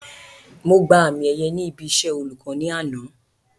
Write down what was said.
Mo gba àmì ẹ̀yẹ ní ibi iṣẹ́ olùkọ́ ní àná